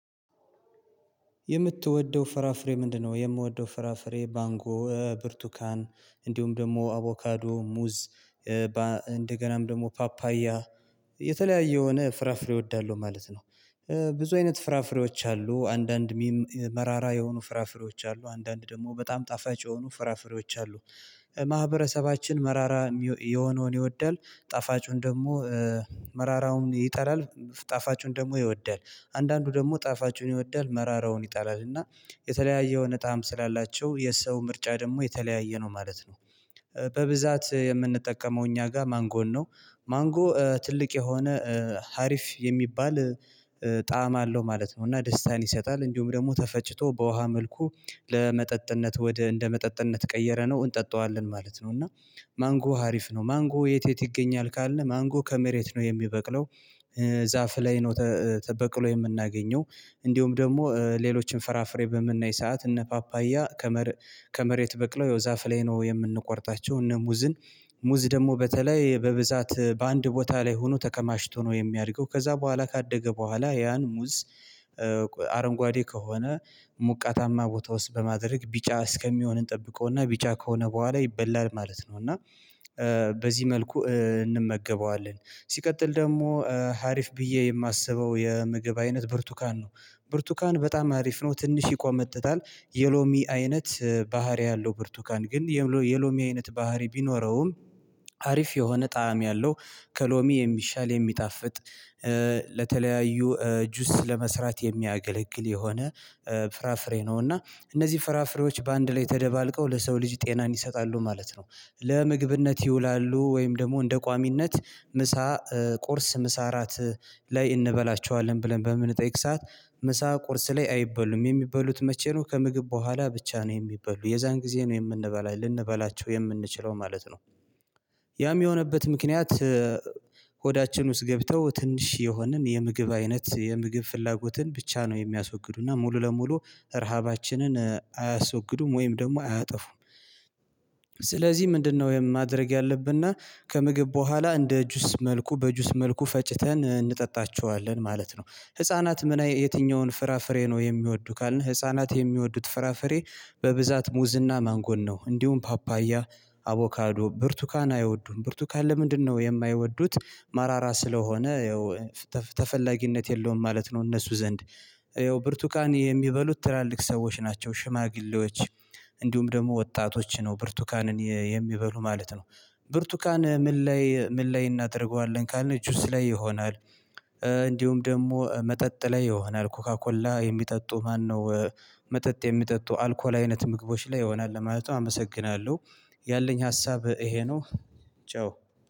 የምትወደው ፍራፍሬ ምንድነው? የምወደው ፍራፍሬ ባንጎ ብርቱካን እንዲሁም ደግሞ አቮካዶ ሙዝ እንደገናም ደግሞ ፓፓያ የተለያየ የሆነ ፍራፍሬ እወዳለሁ ማለት ነው። ብዙ አይነት ፍራፍሬዎች አሉ አንዳንድ ሚም መራራ የሆኑ ፍራፍሬዎች አሉ አንዳንድ ደግሞ በጣም ጣፋጭ የሆኑ ፍራፍሬዎች አሉ። ማህበረሰባችን መራራ የሆነውን ይወዳል ጣፋጩን ደግሞ መራራውን ይጠላል ጣፋጩን ደግሞ ይወዳል አንዳንዱ ደግሞ ጣፋጩን ይወዳል መራራውን ይጠላል እና የተለያየ የሆነ ጣዕም ስላላቸው የሰው ምርጫ ደግሞ የተለያየ ነው ማለት ነው። በብዛት የምንጠቀመው እኛ ጋር ማንጎን ነው ማንጎ ትልቅ የሆነ ሀሪፍ የሚባል ጣዕም አለው ማለት ነው። እና ደስታን ይሰጣል እንዲሁም ደግሞ ተፈጭቶ በውሃ መልኩ ለመጠጥነት ወደ እንደ መጠጥነት ቀየረ ነው እንጠጣዋለን ማለት ነው። እና ማንጎ ሀሪፍ ነው ማንጎ የት የት ይገኛል ካለ ማንጎ ከመሬት ነው የሚበቅለው ዛፍ ላይ ነው። በቅሎ የምናገኘው እንዲሁም ደግሞ ሌሎችን ፈራፍሬ በምናይ ሰዓት እነ ፓፓያ። ከመሬት በቅለው ዛፍ ላይ ነው የምንቆርጣቸው እነ ሙዝን ሙዝ ደግሞ በተለይ በብዛት በአንድ ቦታ ላይ ሆኖ ተከማሽቶ ነው የሚያድገው ከዛ በኋላ ካደገ በኋላ ያን ሙዝ። አረንጓዴ ከሆነ ሙቃታማ ቦታ ውስጥ በማድረግ ቢጫ እስከሚሆን እንጠብቀውና ቢጫ ከሆነ በኋላ ይበላል ማለት ነው። እና በዚህ መልኩ እንመገበዋለን ሲቀጥል ደግሞ አሪፍ ብዬ የማስበው የምግብ አይነት ብርቱካን ነው። ብርቱካን በጣም አሪፍ ነው ትንሽ ይቆመጠጣል የሎሚ አይነት ባህሪ ያለው ብርቱካን ግን የሎሚ አይነት ባህሪ ቢኖረውም አሪፍ የሆነ ጣዕም ያለው ከሎሚ የሚሻል የሚጣፍጥ ለተለያዩ ጁስ ለመስራት የሚያገለግል የሆነ ፍራፍሬ ነው። እና እነዚህ ፍራፍሬዎች በአንድ ላይ ተደባልቀው ለሰው ልጅ ጤናን ይሰጣሉ ማለት ነው። ለምግብነት ይውላሉ ወይም ደግሞ እንደ ቋሚነት ምሳ ቁርስ ምሳ እራት ላይ እንበላቸዋለን ብለን በምንጠይቅ ሰዓት ምሳ ቁርስ ላይ አይበሉም የሚበሉት መቼ? ነው ከምግብ በኋላ ብቻ ነው የሚበሉ የዛን ጊዜ ነው የምንበላው ልንበላቸው የምንችለው ማለት ነው። ያም የሆነበት ምክንያት ሆዳችን ውስጥ ገብተው ትንሽ የሆንን የምግብ አይነት የምግብ ፍላጎትን ብቻ ነው የሚያስወግዱና ሙሉ ለሙሉ ረሃባችንን አያስወግዱም ወይም ደግሞ አያጠፉም። ስለዚህ ምንድነው ወይም ማድረግ ያለብና ከምግብ በኋላ እንደ ጁስ መልኩ በጁስ መልኩ ፈጭተን እንጠጣቸዋለን ማለት ነው። ህፃናት ምን የትኛውን ፍራፍሬ ነው የሚወዱ? ካልን ህፃናት የሚወዱት ፍራፍሬ በብዛት ሙዝና ማንጎን ነው። እንዲሁም ፓፓያ አቮካዶ ብርቱካን አይወዱም ብርቱካን ለምንድነው የማይወዱት? መራራ ስለሆነ ተፈላጊነት የለውም ማለት ነው። እነሱ ዘንድ ያው ብርቱቃን የሚበሉት ትላልቅ ሰዎች ናቸው። ሽማግሌዎች እንዲሁም ደግሞ ወጣቶች ነው ብርቱካንን የሚበሉ ማለት ነው። ብርቱካን ምን ላይ ምን ላይ እናደርገዋለን ካልነ ጁስ ላይ ይሆናል። እንዲሁም ደግሞ መጠጥ ላይ ይሆናል ኮካኮላ የሚጠጡ ማነው? መጠጥ የሚጠጡ አልኮል አይነት ምግቦች ላይ ይሆናል ማለት። አመሰግናለሁ። ያለኝ ሀሳብ ይሄ ነው። ቻው